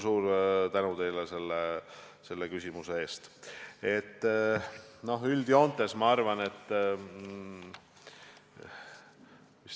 Suur tänu teile selle küsimuse eest!